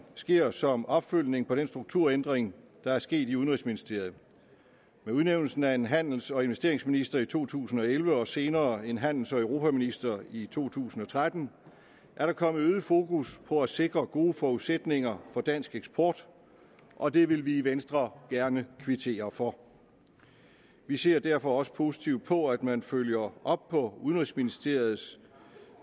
sker som opfølgning på den strukturændring der er sket i udenrigsministeriet med udnævnelsen af en handels og investeringsminister i to tusind og elleve og senere en handels og europaminister i to tusind og tretten er der kommet øget fokus på at sikre gode forudsætninger for dansk eksport og det vil vi i venstre gerne kvittere for vi ser derfor også positivt på at man følger op på udenrigsministeriets